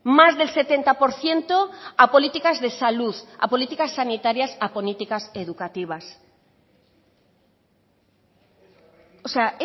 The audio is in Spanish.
más del setenta por ciento a políticas de salud a políticas sanitarias a políticas educativas o sea